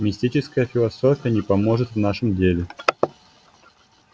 мистическая философия не поможет в нашем деле